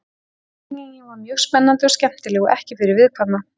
Framlengingin var mjög spennandi og skemmtileg og ekki fyrir viðkvæma.